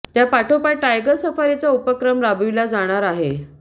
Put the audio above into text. त्या पाठोपाठ टायगर सफारीचा उपक्रम राबविला जाणार आहे